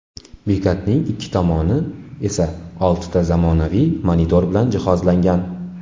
Bekatning ikki tomoni esa oltita zamonaviy monitor bilan jihozlangan.